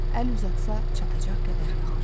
Əl uzatsa çatacaq qədər yaxın.